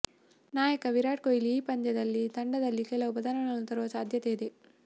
ನಾಯಕ ವಿರಾಟ್ ಕೊಹ್ಲಿ ಈ ಪಂದ್ಯದಲ್ಲಿ ತಂಡದಲ್ಲಿ ಕೆಲವು ಬದಲಾವಣೆ ತರುವ ಸಾಧ್ಯತೆ ಇದೆ